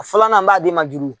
A filanan n b'a di ma juru.